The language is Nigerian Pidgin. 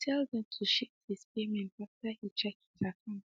he tell them to shift his payment after he check his akant